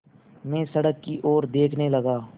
मैं सड़क की ओर देखने लगा